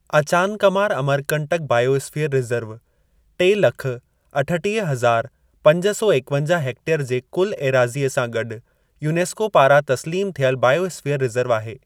Achanakmar Amarkantak biosphere reserve टे लख अठटीह हज़ार पंज सौ एकवंजा हेक्टेयर जे कुल ऐराज़ीअ सां गॾु यूनेस्को पारां तस्लीम थियल बायोस्फीयर रिजर्व आहे।